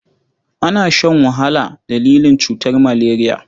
Ana shan wahala dalilin cutar maleriya.